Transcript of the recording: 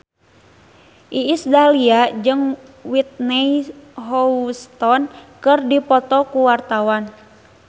Iis Dahlia jeung Whitney Houston keur dipoto ku wartawan